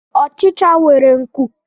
Ọchicha nwere nkụ